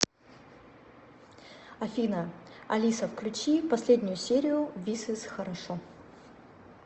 афина алиса включи последнюю серию вис из хорошо